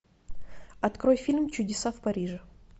открой фильм чудеса в париже